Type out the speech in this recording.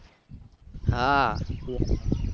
હા